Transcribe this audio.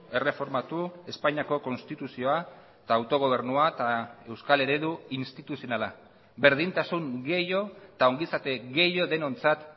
erreformatu espainiako konstituzioa eta autogobernua eta euskal eredu instituzionala berdintasun gehiago eta ongizate denontzat